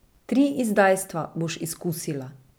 Tri izdajstva boš izkusila.